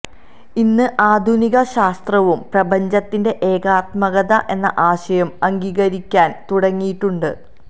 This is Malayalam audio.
ഇന്ന് ആധുനിക ശാസ്ത്രവും പ്രപഞ്ചത്തിന്റെ ഏകാത്മകത എന്ന ആശയം അംഗീകരിക്കാന് തുടങ്ങിയിട്ടുണ്ട്